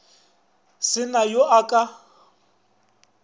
se na yo a ka